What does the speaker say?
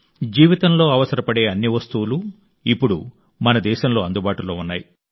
జీవితంలో అవసరపడే అన్ని వస్తువులు ఇప్పుడు మన దేశంలో అందుబాటులో ఉన్నాయి